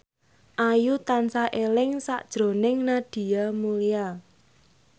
Ayu tansah eling sakjroning Nadia Mulya